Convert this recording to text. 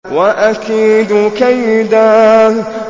وَأَكِيدُ كَيْدًا